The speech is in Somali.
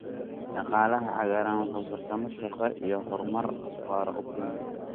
Dhaqaalaha cagaaran wuxuu fursado shaqo iyo horumar waara u keenayaa.